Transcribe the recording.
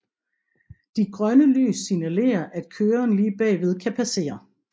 De grønne lys signalere at køren lige bagved kan passere